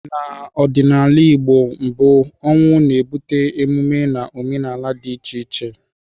N'ọdịnala Igbo mbụ, ọnwụ na-ebute emume na omenala dị iche iche.